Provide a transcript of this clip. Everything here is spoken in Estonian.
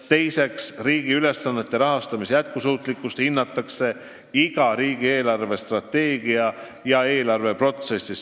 Teiseks, riigi ülesannete rahaga katmise jätkusuutlikkust hinnatakse iga riigi eelarvestrateegia ja eelarve protsessis.